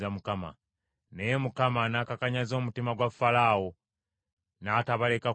Naye Mukama n’akakanyaza omutima gwa Falaawo, n’atabaleka kugenda.